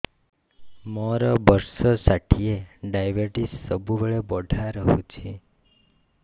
ମୋର ବର୍ଷ ଷାଠିଏ ଡାଏବେଟିସ ସବୁବେଳ ବଢ଼ା ରହୁଛି